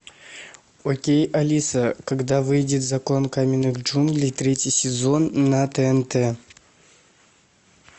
окей алиса когда выйдет закон каменных джунглей третий сезон на тнт